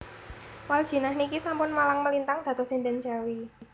Waldjinah niki sampun malang melintang dados sinden Jawi